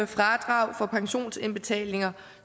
fradrag for pensionsindbetalinger